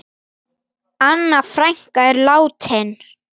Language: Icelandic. Anna frænka er látin.